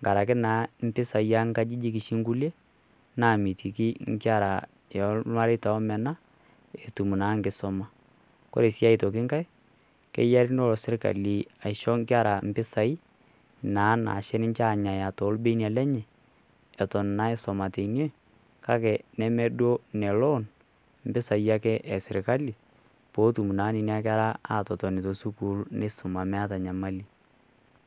enkaraki naa impisai o nkajijik oshi inkulie, naamitiki inkera olmareita oomena, etum naa enkisuma. Ore sii aitoki enkai keyare nelo sirkali aisho inkera impisai naa naisho anyaya ninche toolbenia lenye, eton naa aisuma teine, kake neme duo ine loan impisai ake e sirkali, peetum naa nena kera atotoni to sukuul neisoma meata enyamali.